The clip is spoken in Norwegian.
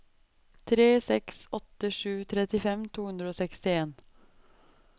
tre seks åtte sju trettifem to hundre og sekstien